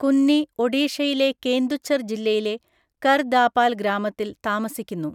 കുന്നി ഒഡീഷയിലെ കേന്ദുഛർ ജില്ലയിലെ കർ ദാപാൽ ഗ്രാമത്തിൽ താമസിക്കുന്നു.